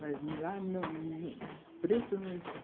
Mas lá, no no, preto não entrava.